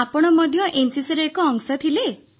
ଆପଣ ମଧ୍ୟ ଏନସିସିର ଏକ ଅଂଶ ଥିଲେ